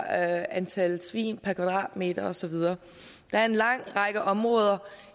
antal svin per kvadratmeter og så videre der er en lang række områder